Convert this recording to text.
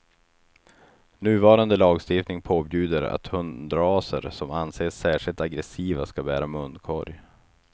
Nuvarande lagstiftning påbjuder att hundraser som anses särskilt aggressiva ska bära munkorg.